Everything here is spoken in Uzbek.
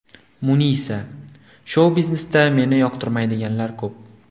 Munisa :– Shou-biznesda meni yoqtirmaydiganlar ko‘p.